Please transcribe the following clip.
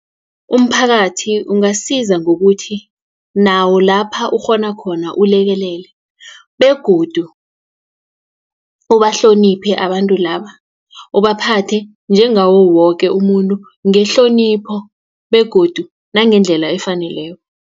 Umphakathi ungasiza ngokuthi nawo lapha ukghona khona ulekelele begodu ubahloniphe abantu laba ubaphathe njengawo woke umuntu ngehlonipho begodu nangendlela efaneleko.